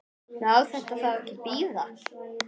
Má þetta þá ekki bíða?